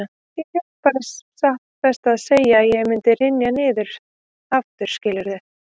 Ég hélt bara satt best að segja að ég mundi hrynja niður aftur, skilurðu.